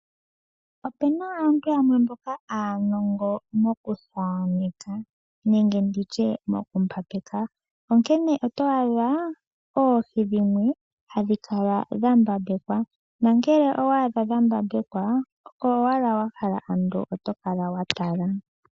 Opena aantu yamwe mboka aanongo mokuthaaneka nenge nditye moku mbambeka. Onkene otwaadha oohi dhimwe hadhi kala dha mbambekwa, nangele owaadha dha mbambekwa oko owala wahala ando otokala watala.